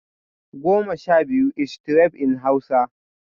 (ten) twelve is twelve in Hausa